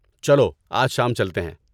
چلو آج شام چلتے ہیں۔